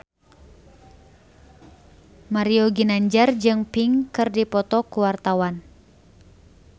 Mario Ginanjar jeung Pink keur dipoto ku wartawan